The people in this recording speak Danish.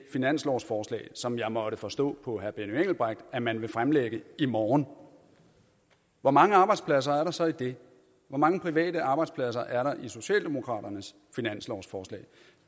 finanslovsforslag som jeg måtte forstå på herre benny engelbrecht at man vil fremlægge i morgen hvor mange arbejdspladser er der så i det hvor mange private arbejdspladser er der i socialdemokraternes finanslovsforslag